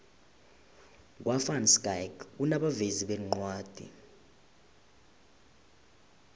kwa van schaick kunabovezi beencwadi